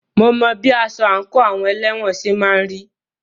Mo mọ bí aṣọ àńkò àwọn elẹ́wọ̀n ṣe máà ń rí.